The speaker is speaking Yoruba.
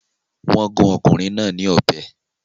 Wọn gun ọkùnrin náà ní ọbẹ